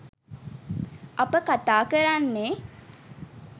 අප කතා කරන්නේ